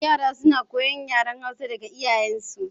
Yara suna koyan yaren Hausa daga iyayen su